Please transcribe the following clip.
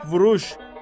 Həp vuruş!